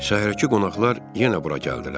Şəhərdəki qonaqlar yenə bura gəldilər.